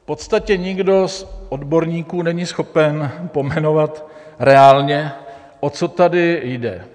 V podstatě nikdo z odborníků není schopen pojmenovat reálně, o co tady jde.